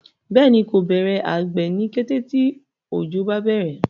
béèni ko Bẹrẹ àgbè ní kété tí ojo bá bẹrẹ.